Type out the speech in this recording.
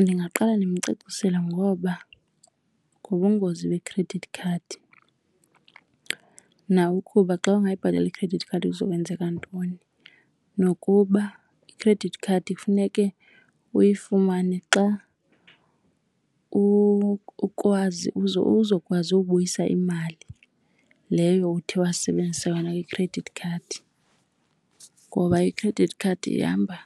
Ndingaqale ndimcacisele ngoba ngobungozi be-credit card nawe ukuba xa ungayibhatali i-credit card kuzokwenzeka ntoni. Nokuba i-credit card kufuneke uyifumane xa uzokwazi ubuyisa imali leyo uthe wasebenzisa yona kwi-credit card. Ngoba i-credit card ihamba